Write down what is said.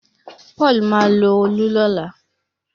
Paul má lọ Òòlù lọla